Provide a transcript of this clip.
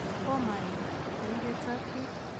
komaim, ko ibetsot biik